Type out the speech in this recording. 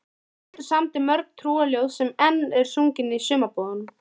Pétur samdi mörg trúarljóð sem enn eru sungin í sumarbúðunum.